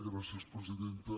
gràcies presidenta